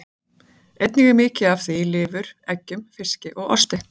Einnig er mikið af því í lifur, eggjum, fiski og osti.